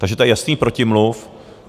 Takže to je jasný protimluv.